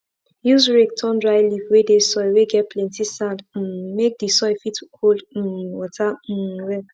use rake turn dry leave whey dey soil whey get plenty sand um make the soil fit hold um water um well